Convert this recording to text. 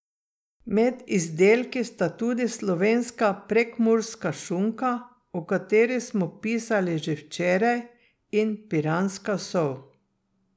Med izdelki sta tudi slovenska prekmurska šunka, o kateri smo pisali že včeraj, in piranska sol.